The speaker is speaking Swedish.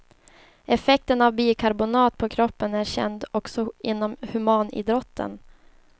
Effekten av bikarbonat på kroppen är känd också inom humanidrotten.